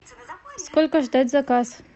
сколько ждать заказ